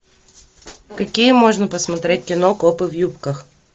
какие можно посмотреть кино копы в юбках